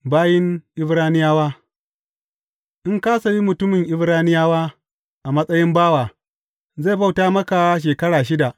Bayin Ibraniyawa In ka sayi mutumin Ibraniyawa a matsayin bawa, zai bauta maka shekara shida.